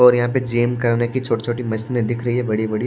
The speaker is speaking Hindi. और यहां पे जिम करने की छोटी-छोटी मशीनें दिख रही है बड़ी-बड़ी--